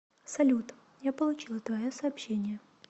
салют я получила твое сообщение